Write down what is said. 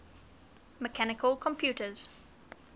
mechanical computers